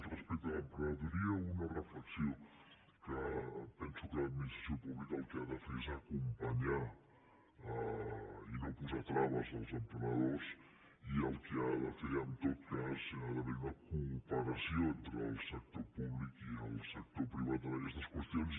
respecte a l’emprenedoria una reflexió que penso que l’administració pública el que ha de fer és acompanyar i no posar traves als emprenedors i el que ha de fer en tot cas hi ha d’haver una cooperació entre el sector públic i el sector privat en aquestes qüestions